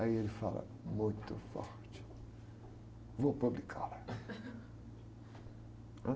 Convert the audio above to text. Aí ele fala muito forte, vou publicá-la. Né?